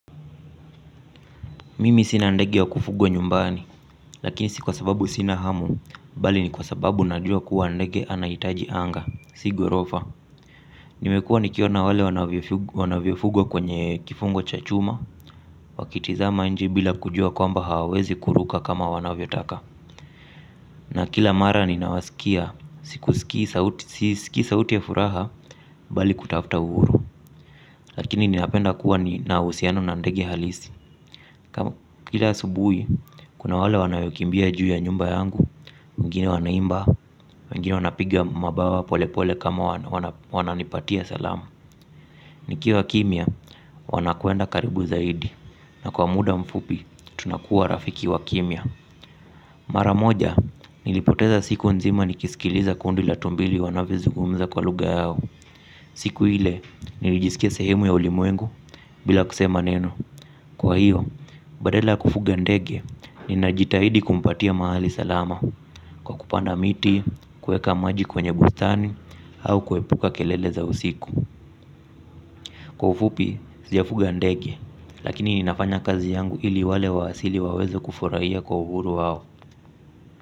Mimi sina ndege wa kufugwa nyumbani, lakini si kwa sababu sina hamu, bali ni kwa sababu najua kuwa ndege anahitaji anga, si ghorofa. Nimekuwa nikiona wale wanavyofugwa kwenye kifungo cha chuma, wakitizama nje bila kujua kwamba hawawezi kuruka kama wanavyotaka. Na kila mara ninawasikia, sisikii sauti ya furaha, bali kutafuta uhuru, lakini ninapenda kuwa na uhusiano na ndege halisi. Kama kila asubuhi, kuna wale wanaokimbia juu ya nyumba yangu, wengine wanaimba, wengine wanapiga mabawa pole pole kama wananipatia salamu. Nikiwa kimya, wanakwenda karibu zaidi na kwa muda mfupi, tunakuwa rafiki wa kimya. Mara moja, nilipoteza siku nzima nikisikiliza kundi la tumbili wanavyozungumza kwa lugha yao. Siku ile, nilijisikia sehemu ya ulimwengu bila kusema neno. Kwa hiyo, badala kufuga ndege, ninajitahidi kumpatia mahali salama kwa kupanda miti, kuweka maji kwenye bustani, au kuepuka kelele za usiku. Kwa ufupi, sijafuga ndege, lakini ninafanya kazi yangu ili wale wa asili waweze kufurahia kwa uhuru wao.